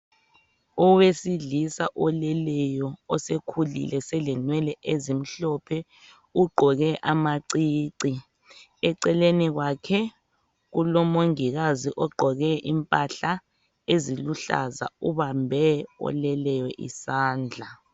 Owesilisa oleleyo osekhulile selenwele ezimhlophe ugqoke amacici ,eceleni kwakhe kulo mongikazi ogqoke impahla eziluhlaza ubambe oleleyo isandla